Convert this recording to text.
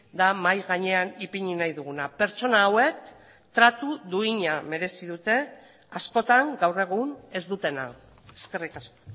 da mahai gainean ipini nahi duguna pertsona hauek tratu duina merezi dute askotan gaur egun ez dutena eskerrik asko